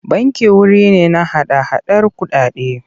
Banki wuri ne na hada-hadar kuɗaɗe.